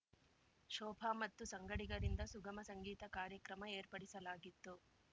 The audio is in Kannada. ಶೋಭ ಮತ್ತು ಸಂಗಡಿಗರಿಂದ ಸುಗಮ ಸಂಗೀತ ಕಾರ್ಯಕ್ರಮ ಏರ್ಪಡಿಸಲಾಗಿತ್ತು